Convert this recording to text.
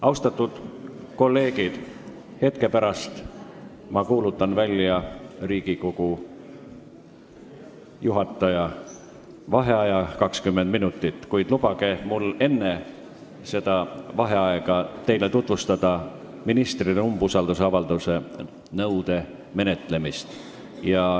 Austatud kolleegid, hetke pärast kuulutan ma 20 minutiks välja Riigikogu juhataja vaheaja, kuid lubage mul enne vaheaega teile tutvustada ministrile esitatud umbusaldusavalduse menetlemist.